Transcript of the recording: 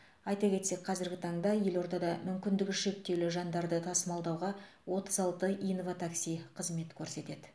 айта кетсек қазіргі таңда елордада мүмкіндігі шектеулі жандарды тасымалдауға отыз алты инватакси қызмет көрсетеді